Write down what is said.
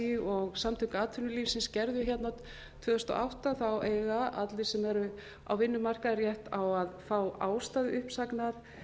así og samtök atvinnulífsins gerðu hérna tvö þúsund og átta eiga allir sem eru á vinnumarkaði rétt á að fá ástæðu uppsagnar